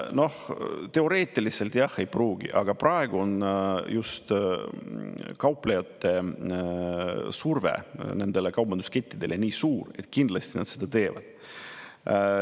Noh, teoreetiliselt jah ei pruugi, aga praegu on just kauplejate surve nendele kaubanduskettidele nii suur, et kindlasti nad seda teevad.